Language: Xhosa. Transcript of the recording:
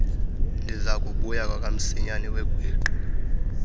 ndizakubuya kwakamsinyane wegwiqi